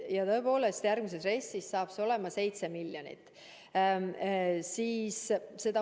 Ja tõepoolest, järgmises RES-is on see 7 miljonit.